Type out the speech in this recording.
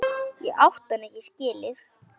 Ég átti hann ekki skilið.